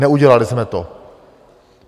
Neudělali jsme to.